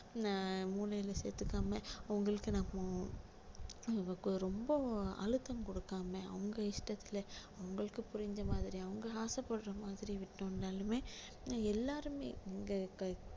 எர் மூளையில சேர்த்துக்காம அவங்களுக்கு நம்ம நம்ம ரொம்ப அழுத்தம் கொடுக்காம அவங்க இஷ்டத்துல அவங்களுக்கு புரிஞ்ச மாதிரி அவங்க ஆசை படுற மாதிரி விட்டோம்னாலுமே எல்லாருமே இங்க இப்ப~